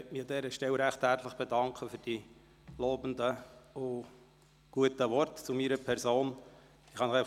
Ich möchte mich an dieser Stelle recht herzlich für die lobenden und guten Worte zu meiner Person bedanken.